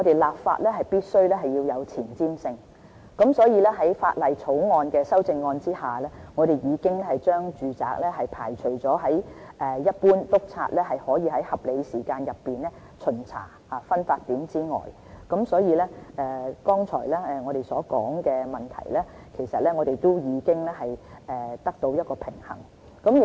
立法必需有前瞻性，所以，在《條例草案》的修正案下，我們已將住宅排除在一般督察可以在合理時間內調查的分發點之外，所以，剛才我們所提及的問題，都已經得到平衡。